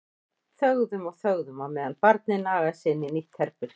Þögðum og þögðum á meðan barnið nagaði sig inn í nýtt herbergi.